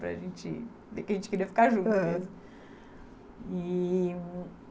Para gente, porque a gente queria ficar junto, aham, e